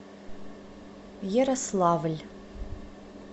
ярославль